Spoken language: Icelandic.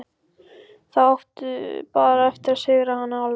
Þá áttu bara eftir að sigra hana alveg.